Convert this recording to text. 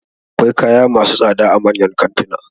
Akwai kaya masu tsada a manyan kantuna